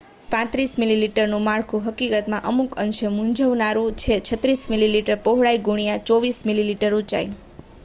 35 મીલીમીટરનુ માળખું હકીકતમાં અમુક અંશે મુંઝવનારુ છે 36 મીલીમીટર પહોળાઈ ગુણ્યા 24 મીલીમીટર ઊંચાઈ